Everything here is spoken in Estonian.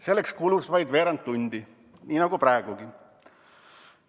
Selleks kulus vaid veerand tundi, nii nagu praegugi.